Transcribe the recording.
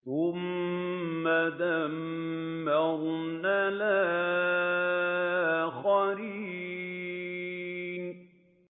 ثُمَّ دَمَّرْنَا الْآخَرِينَ